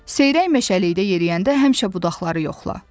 Seyrək meşəlikdə yeriyəndə həmişə budaqları yoxla.